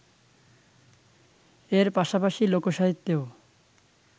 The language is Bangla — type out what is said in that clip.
এর পাশাপাশি লোকসাহিত্যেও